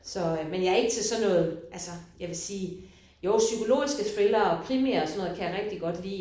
Så øh men jeg er ikke til sådan noget altså jeg vil sige jo psykologiske krimier og thrillere kan jeg rigtig godt lide